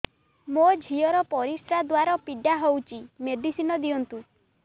ମୋ ଝିଅ ର ପରିସ୍ରା ଦ୍ଵାର ପୀଡା ହଉଚି ମେଡିସିନ ଦିଅନ୍ତୁ